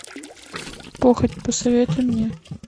похоть посоветуй мне